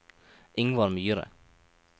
Ingvar Myhre